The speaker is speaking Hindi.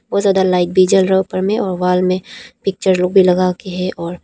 बहुत ज्यादा लाइट भी जल रहा है ऊपर में और वाल में पिक्चर लोग भी लगाके है और--